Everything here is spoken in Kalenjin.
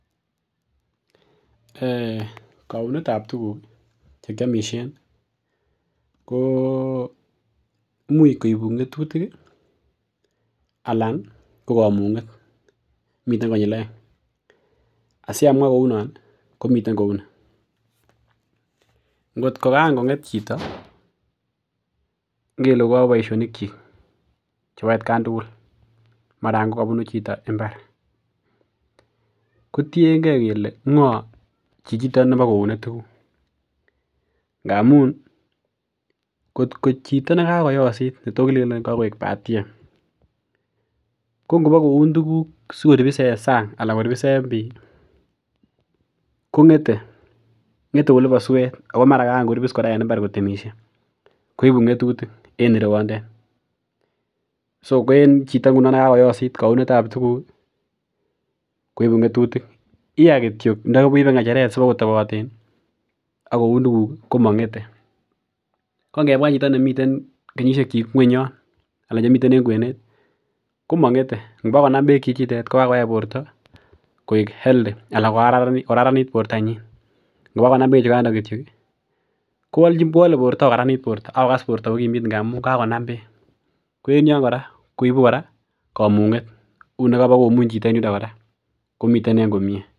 [um]Kounet ab tuguk chekiomisien ko imuch koibu ngetutik ih anan ko komung'et miten konyil oeng' asiamwaa kounon ih komiten kou ni ngotko kaan ko ng'et chito ngele kokoyobu boisionik kyik chebo atkan tugul mara kobunu chito mbar kotiengei kele ngoo chichiton bo koune tuguk ngamun kotko chito nekakoyosit netoo kilenen kakoik batiem ko ngobo koun tuguk sikoribis en sang anan koribis en bii ko ngete ngete olibo suet ako mara kaan koribis kora en mbar kotemisie koibu ng'etutik en ireyondet so en chito ngunon nekakoyosit kounet ab tuguk koibu ng'etutik iya kityok ndo keibe ng'echeret siba kotoboten akoun tuguk ih komong'ete ko ngemwa chito nemiten kenyisiek kyik ng'weny yon anan chemiten en kwenet komong'ete ngobo konam beek chichitet kokakoyai borto koik healthy anan ko kararanit bortonyin ngoba konam bechondon kityok ih kowole borto kokaranit borto ak kokas borto kokimit ngamun kakonam beek ko en yon kora koibu kora komung'et uu nekabokomuny chito en yundo kora komiten en komie